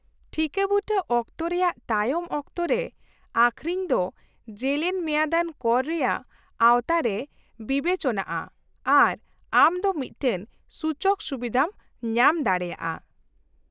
-ᱴᱷᱤᱠᱟᱹᱵᱩᱴᱟᱹ ᱚᱠᱛᱚ ᱨᱮᱭᱟᱜ ᱛᱟᱭᱚᱢ ᱚᱠᱛᱚ ᱨᱮ ᱟᱹᱷᱨᱤᱧ ᱫᱚ ᱡᱮᱞᱮᱧ ᱢᱮᱭᱟᱫᱟᱱ ᱠᱚᱨ ᱨᱮᱭᱟᱜ ᱟᱣᱛᱟ ᱨᱮ ᱵᱤᱵᱮᱪᱚᱱᱟᱜᱼᱟ ᱟᱨ ᱟᱢ ᱫᱚ ᱢᱤᱫᱴᱟᱝ ᱥᱩᱪᱚᱠ ᱥᱩᱵᱤᱫᱷᱟᱢ ᱧᱟᱢ ᱫᱟᱲᱮᱭᱟᱜᱼᱟ ᱾